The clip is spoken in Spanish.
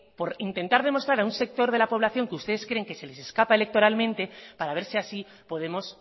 por intentar demostrar a un sector de la población que ustedes creen que se les escapa electoralmente para ver si así podemos